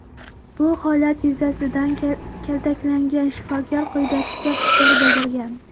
Bu holat yuzasidan kaltaklangan shifokor quyidagicha fikr bildirgan.